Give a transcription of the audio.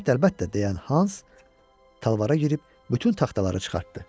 Əlbəttə, əlbəttə, deyən Hans talvara girib bütün taxtaları çıxartdı.